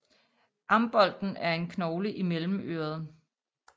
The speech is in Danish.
Ambolten er en knogle i mellemøret